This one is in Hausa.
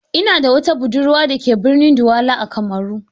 Ina da wata budurwa da ke birnin Douala a Kamaru.